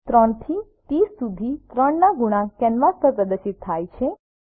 3 થી 30 સુધી 3 ના ગુણાંક કેનવાસ પર પ્રદર્શિત થાય છે